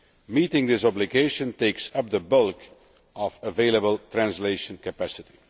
Meeting this obligation takes up the bulk of available translation capacity.